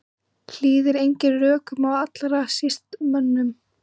Hlýðir engum rökum og allra síst mönnum.